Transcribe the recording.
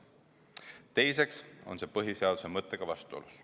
Teiseks on see põhiseaduse mõttega vastuolus.